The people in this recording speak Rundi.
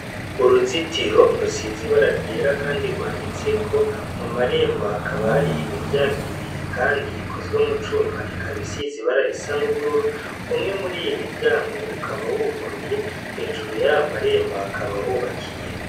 Mu ruzitiro rusiz' ibara ryera kandi rwanditseko, mu marembo hakaba har' imiryang' ibiri kand' ikozwe mu cum' ikab' isiz' ibara risa n' ubururu, umwe muriy' imiryang' ukaba wuguruye hejuru yaya marembo hakaba hubakiye.